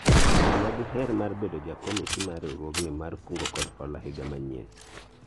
ng'ama diher mar bedo jakomiti mar riwruogni mar kungo kod hola higa manyien